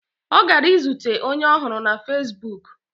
Ọ gara izute onye ọ hụrụ na fezbuk.